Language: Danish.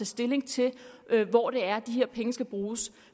stilling til hvor det er de her penge skal bruges